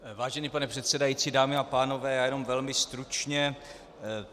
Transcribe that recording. Vážený pane předsedající, dámy a pánové, já jenom velmi stručně.